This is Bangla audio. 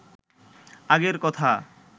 আগের কথা